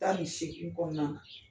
'tan ni seegin kɔnɔnana